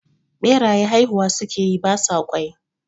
Ɓeraye haihuwa sukeyi ba sa ƙwai